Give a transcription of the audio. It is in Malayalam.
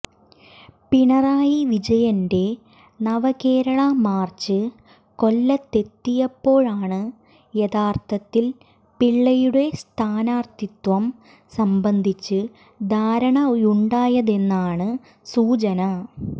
പിണറായി വിജയന്റെ നവകേരള മാർച്ച് കൊല്ലത്തെത്തിയപ്പോഴാണ് യഥാർത്ഥത്തിൽ പിള്ളയുടെ സ്ഥാനാർത്ഥിത്വം സംബന്ധിച്ച് ധാരണയുണ്ടായതെന്നാണ് സൂചന